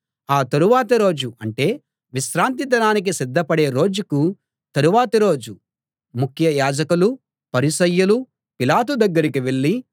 ఆ తరువాతి రోజు అంటే విశ్రాంతి దినానికి సిద్ధపడే రోజుకు తరువాతి రోజు ముఖ్య యాజకులు పరిసయ్యులు పిలాతు దగ్గరికి వెళ్ళి